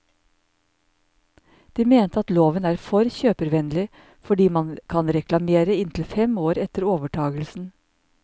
De mente at loven er for kjøpervennlig, fordi man kan reklamere inntil fem år etter overtagelsen.